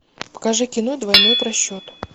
покажи кино двойной просчет